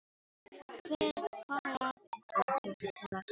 Hvar er afi? spurði Tóti til að segja eitthvað.